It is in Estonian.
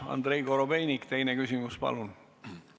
Andrei Korobeinik, teine küsimus, palun!